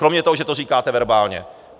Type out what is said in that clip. Kromě toho, že to říkáte verbálně.